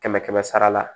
Kɛmɛ kɛmɛ sara la